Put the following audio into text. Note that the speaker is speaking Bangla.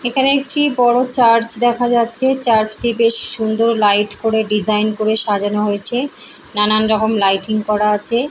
এখানে একটি বড়ো চার্চে দেখা যাচ্ছে চার্চে টি বেশ সুন্দর লাইট করে ডিসাইন করে সাজানো হয়েছে নানান রকম লাইটিং করা আছে।